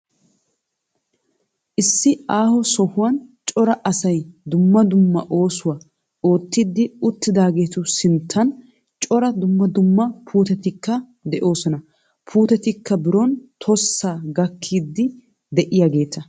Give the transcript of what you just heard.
Issi aaho sohuwan cora asay dumma dumma oosuwa oottiiddi uttidaageetu sinttan cora dumma dumma puutetikka de'oosona. Puutetikka biron tossa gakkiiddi de'iyageeta.